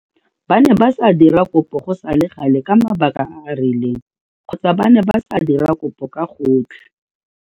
Ba ne ba sa dira kopo go sa le gale ka mabaka a a rileng kgotsa ba ne ba sa dira kopo ka gotlhe.